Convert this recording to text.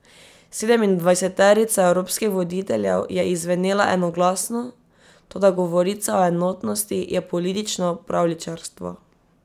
Sedemindvajseterica evropskih voditeljev je izzvenela enoglasno, toda govorica o enotnosti je politično pravljičarstvo.